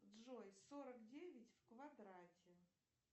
джой сорок девять в квадрате